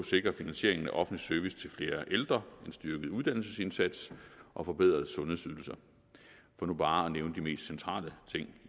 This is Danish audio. sikre finansieringen af offentlig service til flere ældre en styrket uddannelsesindsats og forbedrede sundhedsydelser for nu bare at nævne de mest centrale ting